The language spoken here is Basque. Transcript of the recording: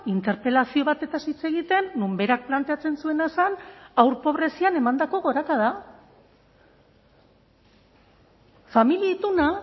interpelazio batez hitz egiten non berak planteatzen zuena zen haur pobrezian emandako gorakada familia ituna